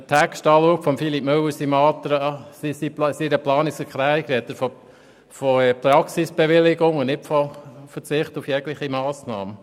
Die Planungserklärung von Philippe Müller spricht von Praxisbewilligung und nicht von Verzicht auf jegliche Massnahme.